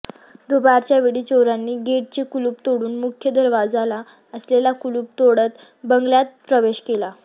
दुपारच्या वेळी चोरांनी गेटचे कुलूप तोडून मुख्य दरवाजाला असलेले कुलूप तोडत बंगल्यात प्रवेश केला